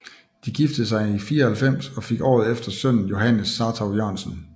De giftede sig i 94 og fik året efter sønnen Johannes Sartou Jørgensen